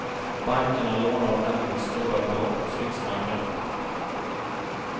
Bankerna lånar nämligen stora belopp hos riksbanken.